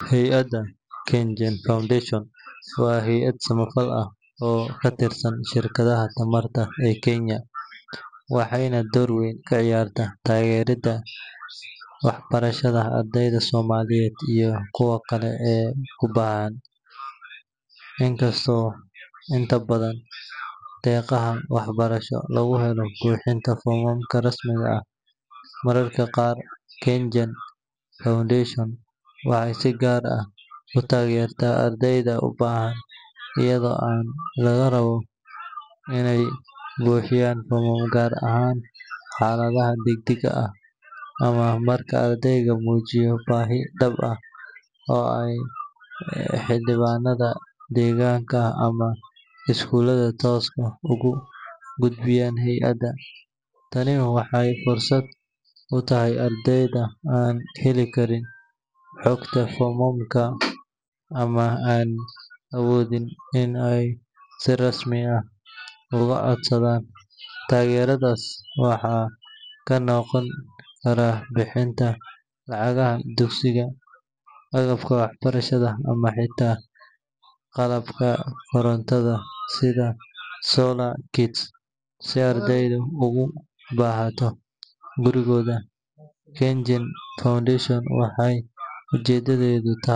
Hay’adda KenGen Foundation waa hay’ad samafal ah oo ka tirsan shirkadda tamarta ee Kenya, waxayna door weyn ka ciyaartaa taageerada waxbarashada ardayda Soomaaliyeed iyo kuwa kale ee u baahan. Inkastoo inta badan deeqaha waxbarasho lagu helo buuxinta foomamka rasmiga ah, mararka qaar KenGen Foundation waxay si gaar ah u taageertaa ardayda u baahan iyadoo aan laga rabo inay buuxiyaan foom, gaar ahaan xaaladaha degdegga ah ama marka ardaygu muujiyo baahi dhab ah oo ay xildhibaanada deegaanka ama iskuulada toos ugu gudbiyaan hay’adda. Tani waxay fursad u tahay ardayda aan heli karin xogta foomamka ama aan awoodin inay si rasmi ah uga codsadaan. Taageeradaas waxaa ka mid noqon kara bixinta lacagaha dugsiga, agabka waxbarashada, ama xitaa qalabka korontada sida solar kits si ardaydu ugu barato gurigooda. KenGen Foundation waxay ujeedadeedu tahay.